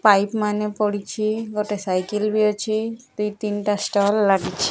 Pipe ମାନେ ପଡିଛି ଗୋଟେ ସାଇକେଲ ଵି ଅଛି ଦୁଇ ତିନିଟା ଷ୍ଟଲ ଲାଗିଛି।